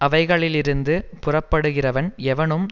அவைகளிலிருந்து புறப்படுகிறவன் எவனும்